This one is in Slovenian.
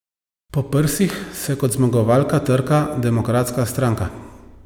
Po prsih se kot zmagovalka trka Demokratska stranka.